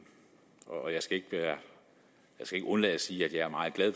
og jeg skal ikke undlade at sige at jeg er meget glad